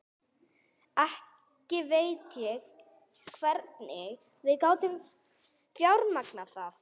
Ekki veit ég hvernig við gátum fjármagnað það.